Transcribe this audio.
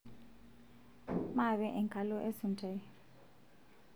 maape enkalo esuntai